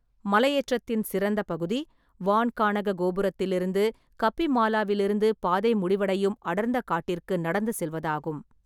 மலையேற்றத்தின் சிறந்த பகுதி, வான்காணக கோபுரத்திலிருந்து கப்பிமாலாவிலிருந்து பாதை முடிவடையும் அடர்ந்த காட்டிற்கு நடந்து செல்வதாகும்.